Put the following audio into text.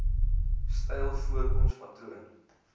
styl voorkoms patroon